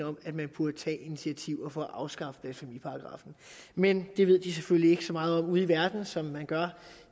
om at man burde tage initiativer for at afskaffe blasfemiparagraffen men det ved de selvfølgelig ikke så meget om ude i verden som man gør